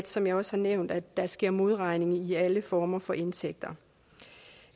som jeg også har nævnt at der sker modregning i alle former for indtægter